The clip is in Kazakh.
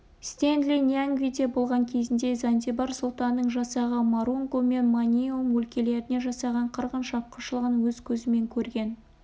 стенли ньянгвиде болған кезінде занзибар сұлтанының жасағы марунгу мен маниуэм өлкелеріне жасаған қырғын шапқыншылығын өз көзімен көрген